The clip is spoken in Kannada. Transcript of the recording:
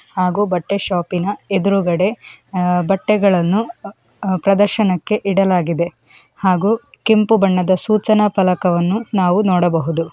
ಹಾಗೂ ಬಟ್ಟೆ ಶಾಪ ಇನ ಎದುರ್ಗಡೆ ಅಹ್ ಬಟ್ಟೆಗಳನ್ನು ಅಹ್ ಪ್ರದರ್ಶನಕ್ಕೆ ಇಡಲಾಗಿದೆ ಹಾಗೂ ಕೆಂಪು ಬಣ್ಣದ ಸೂಚನಾ ಫಲಕವನ್ನು ನಾವು ನೋಡಬಹುದು.